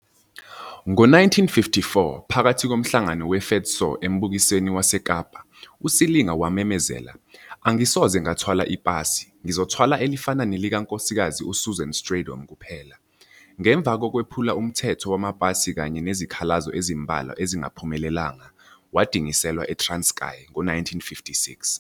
Ngo-1954, phakathi komhlangano we-FEDSAW embukisweni waseKapa, uSilinga wamemezela - Angisoze ngathwala ipasi, ngizothwala elifana nelika Nksz Susan Strijdom kuphela. Ngemva kokwephula umthetho wamapasi kanye nezikhalazo ezimbalwa ezingaphumelelanga, wadingiselwa e-Transkei ngo-1956.